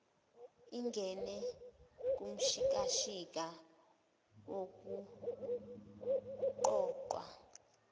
ingene kumshikashika wokuqoqwa